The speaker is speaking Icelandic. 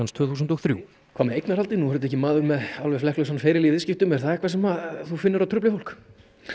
tvö þúsund og þrjú hvað með eignarhaldið nú er þetta ekki maður með alveg flekklausan feril í viðskiptum er það eitthvað sem þú finnur að trufli fólk